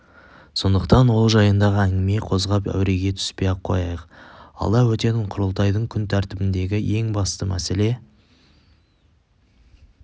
сондықтан ол жайында әңгіме қозғап әуреге түспей-ақ қояйық алда өтетін құрылтайдың күн тәртібіндегі ең басты мәселе